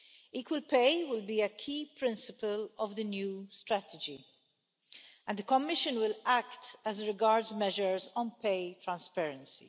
Equal pay will be a key principle of the new strategy, and the Commission will act as regards measures on pay transparency.